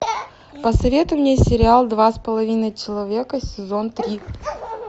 посоветуй мне сериал два с половиной человека сезон три